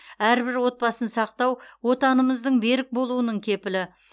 әрбір отбасын сақтау отанымыздың берік болуының кепілі